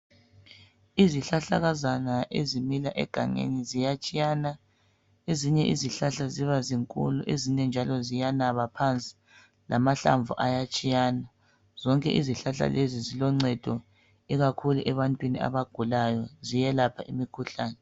Izihlahlakazana ezimila egangeni ziyatshiyana. Ezinye izihlahla zibazinkulu, ezinye ziyanaba phansi lamahlamvu ayatshiyana. Zonke izihlahla lezi ziloncedo ikakhulu ebantwini abagulayo ziyelapha imikhuhlane.